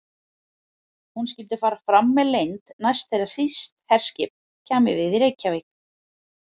Hún skyldi fara fram með leynd, næst þegar þýskt herskip kæmi við í Reykjavík.